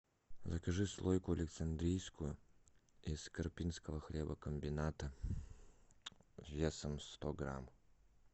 закажи слойку александрийскую из карпинского хлебокомбината весом сто грамм